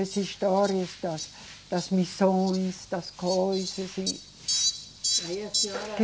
As histórias das, das missões, das coisas e. Aí a senhora